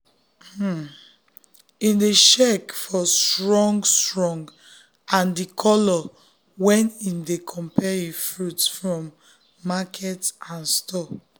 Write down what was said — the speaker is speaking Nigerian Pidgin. um him dey check for strong-strong and di color when him dey compare um fruit from um market and store